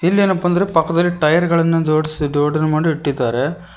ಇಲ್ಲೇನಪ್ಪಾ ಅಂದ್ರೆ ಪಕ್ಕದಲ್ಲಿ ಟೈಯರ್ ಗಳನ್ನು ಜೋಡಿಸಿ ಜೋಡನೆ ಮಾಡಿ ಇಟ್ಟಿದ್ದಾರೆ.